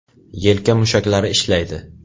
Yelka mushaklari ishlaydi .